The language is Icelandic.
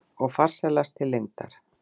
Og farsælast til lengdar.